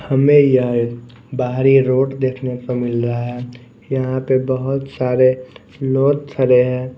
हमें यह बाहरी रोड देखने को मिल रहा हैं यहाँ पे बहुत सारे लोथ थरे हैं ।